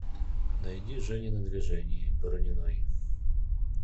найди женя на движении борониной